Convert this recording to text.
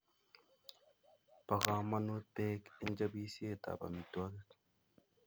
Bo komonut Bek eng chobisietab amitwogik